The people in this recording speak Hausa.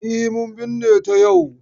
E, mun binne ta yau.